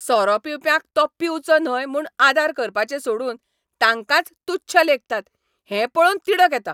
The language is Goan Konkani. सोरो पिवप्यांक तो पिवचो न्हय म्हूण आदार करपाचें सोडून तांकांच तुच्छ लेखतात हें पळोवन तिडक येता.